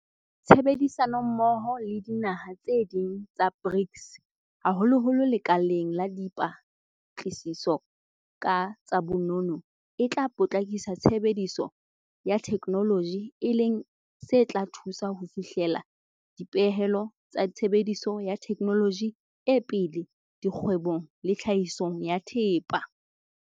Tshebedisanommoho le dinaha tse ding tsa BRICS haholoholo lekaleng la dipa tlasiso ka tsa bonono e tla potlakisa tshebediso ya the kenoloji e leng se tla thusa ho fihlela dipehelo tsa tshebediso ya thekenoloji e pele dikgwe bong le tlhahisong ya thepa.